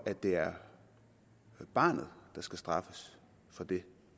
det er barnet der skal straffes for det